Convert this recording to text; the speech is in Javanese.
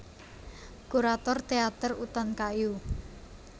Kurator Teater Utan Kayu